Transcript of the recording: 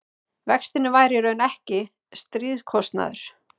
vextirnir væru í raun ekki stríðskostnaður